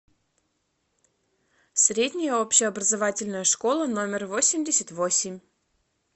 средняя общеобразовательная школа номер восемьдесят восемь